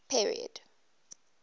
period